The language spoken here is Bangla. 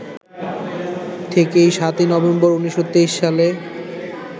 থেকে ৭ই নভেম্বর, ১৯২৩ সালে